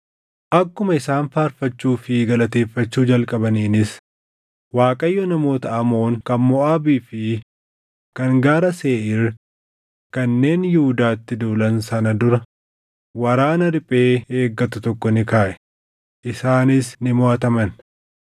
Akkuma isaan faarfachuu fi galateeffachuu jalqabaniinis Waaqayyo namoota Amoon kan Moʼaabii fi kan Gaara Seeʼiir kanneen Yihuudaatti duulan sana dura waraana riphee eeggatu tokko ni kaaʼe; isaanis ni moʼataman.